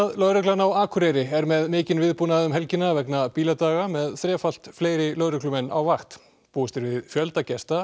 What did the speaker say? lögreglan á Akureyri er með mikinn viðbúnað um helgina vegna bíladaga með þrefalt fleiri lögreglumenn á vakt búist er við fjölda gesta